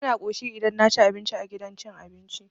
Bana ƙoshi idan naci abinci a gidan cin abinci.